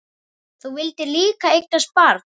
Þú vildir líka eignast barn.